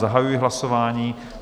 Zahajuji hlasování.